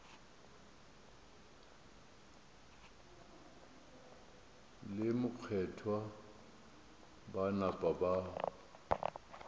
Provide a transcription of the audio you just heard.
le mokgethwa ba napa ba